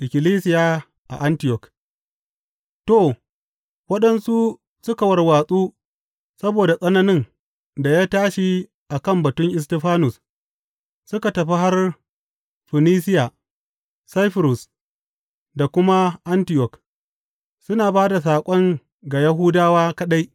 Ikkilisiya a Antiyok To, waɗanda suka warwatsu saboda tsananin da ya tashi a kan batun Istifanus suka tafi har Funisiya, Saifurus da kuma Antiyok, suna ba da saƙon ga Yahudawa kaɗai.